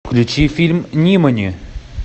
включи фильм нимани